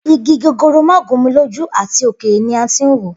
Igi gogoro ma gun mi loju ati okere ni a tin wo.